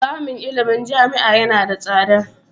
Samun ilimin jami'a yana da tsada.